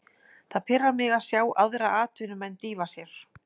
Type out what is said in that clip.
Það pirrar mig að sjá aðra atvinnumenn dýfa sér.